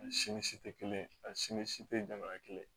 Ani simisi tɛ kelen ye a si ni si tɛ jamana kelen